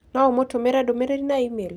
no ũmũtũmĩre ndũmĩrĩri na e-mail